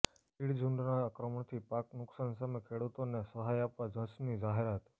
તીડ ઝુંડના આક્રમણથી પાક નુકસાન સામે ખેડૂતોને સહાય આપવા ઝ્રસ્ની જાહેરાત